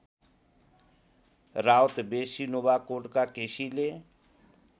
राउतबेसी नुवाकोटका केसीले